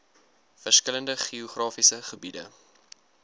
verskillende geografiese gebiede